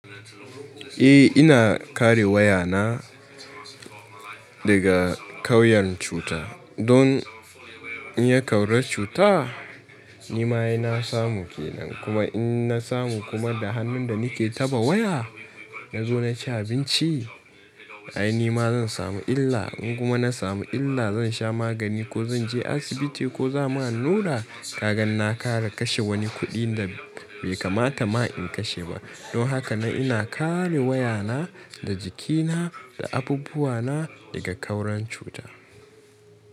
Eh ina kare waya na daga ƙauyen cuta don in yi ƙaura cuta nima ina samu ke nan. Kuma in na samu kuma da hannun da nake taɓa waya na zo na ci abinci ai nima zan samu illa. In kuma na samu illa zan sha magani ko zan je asibiti ko za'a mun allura. Kagan na ƙara kashe wani kuɗi da bai kamata ma in kashe ba. Don haka na ina ƙare waya na da jikina da abubuwa na daga ƙauran cuta.